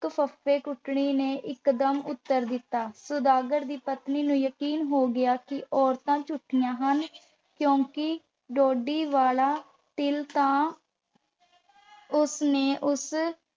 ਇੱਕ ਫੱਫੇ-ਕੁੱਟਣੀ ਨੇ ਇਕਦਮ ਉੱਤਰ ਦਿੱਤਾ। ਸੁਦਾਗਰ ਦੀ ਪਤਨੀ ਨੂੰ ਯਕੀਨ ਹੋ ਗਿਆ ਕਿ ਇਹ ਔਰਤਾਂ ਝੂਠੀਆਂ ਹਨ ਕਿਉਂਕਿ ਠੋਡੀ ਵਾਲਾ ਤਿਲ ਤਾਂ ਉਸ ਨੇ ਉਸ